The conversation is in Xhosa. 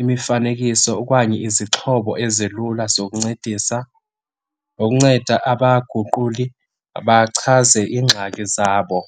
imifanekiso okanye izixhobo ezilula zokuncedisa, nokunceda abaguquli bachaze iingxaki zabo.